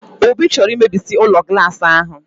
Obi chọrọ imebisi ụlọ glaasị ahụ!